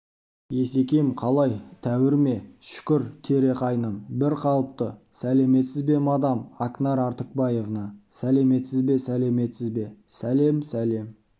есекем қалай тәуір ме шүкір тере қайным бір қалпы сәлеметсіз бе мадам акнар артыкбаевна сәлеметсіз бе сәлеметсіз бе сәлем сәлем